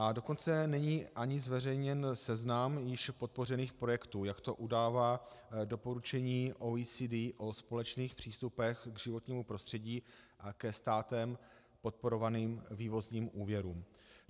A dokonce není ani zveřejněn seznam již podpořených projektů, jak to udává doporučení OECD o společných přístupech k životnímu prostředí a ke státem podporovaným vývozním úvěrům.